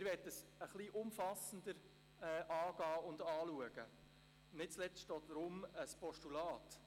Wir möchten es etwas umfassender angehen und anschauen, nicht zuletzt auch deshalb ein Postulat.